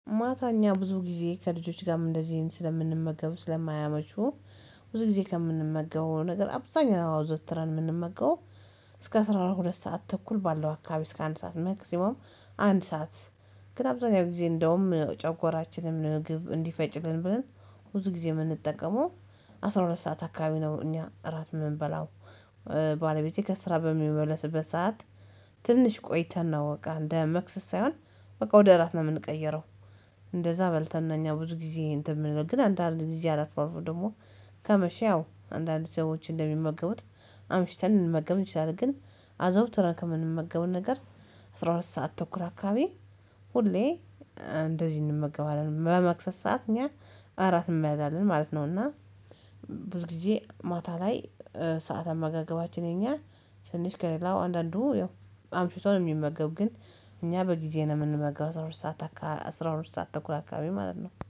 ማታ እኛ ብዙ ጊዜ ከልጆች ጋርም እንደዚህ ስለምንመገብ ስለማያመቹ ብዙ ጊዜ ከምንመገበው ነገር አብዛኛው አዘውትረን የምንመገበው። እስከ አስራ ሁለት ሰዓት ተኩል ባለው አካባቢ እስከ አንድ ሰዓት መክሲማም አንድ ሰዓት ግን አብዛኛው ጊዜ እንደውም ጨጎራችንን ምግብ እንዲፈጭልን ብለን ብዙ ጊዜ የምንጠቀመው አስራ ሁለት ሰዓት አካባቢ ነው። እኛ እራት የምንበላው ባለቤቴ ከስራ በሚመለስበት ሰዓት ትንሽ ቆይተን ነው እቃ እንደ መክሰስ ሳይሆን በቃ ወደ እራት ነው የምንቀየረው። እንደዛ በልተን ነን እኛ ብዙ ጊዜ እንትን የምንለው ግን አንዳንድ ጊዜ አልፎ አልፎ ደግሞ ከመሸ ያው አንዳንድ ሰዎች እንደሚመገቡት አምሽተን ልንመገብ እንችላለን። ግን አዘውትረን ከምንመገበው ነገር አስራ ሁለት ሰዓት ተኩል አካባቢ ሁሌ እንደዚህ እንመገባለን በመክሰስ ሰዓት እኛ እራት እንበላለን ማለት ነው። እና ብዙ ጊዜ ማታ ላይ ሰዓት አመጋገባችን የኛ ትንሽ ከሌላው አንዳንዱ ያው አምሽቶ ነው የሚመገብ። ግን እኛ በጊዜ ነው የምንመገባው አስራ ሁለት ሰዓት አስራ ሁለት ሰዓት ተኩል አካባቢ ማለት ነው